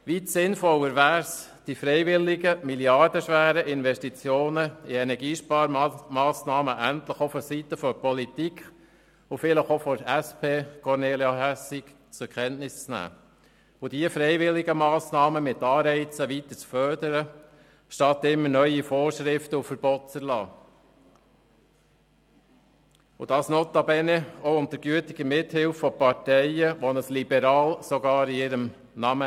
Weit sinnvoller wäre es, die freiwilligen, milliardenschweren Investitionen in Energiesparmassnahmen endlich auch seitens der Politik und vielleicht auch seitens der SP, Kornelia Hässig, zur Kenntnis zu nehmen und diese freiwilligen Massnahmen weiterhin mit Anreizen zu fördern, statt immer neue Vorschriften und Verbote zu erlassen und dies notabene auch unter gütiger Mithilfe von Parteien, die sogar ein «Liberal» in ihrem Namen tragen.